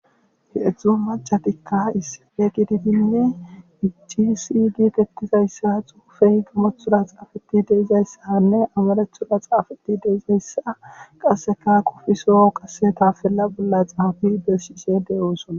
he7edzdzu macatikka issife gididinne ici si giitettizayssa xuufey gamothora xaafeti deizayssanne amarethura xaafeti deizayssa qasseka qofiso qase tafella bolla xaafi besshise de:osona